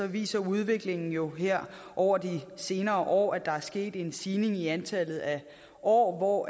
viser udviklingen jo her over de senere år at der er sket en stigning i antallet af år